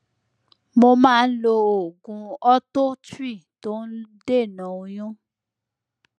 mo máa ń lo oògùn ortho tri tó ń dènà oyún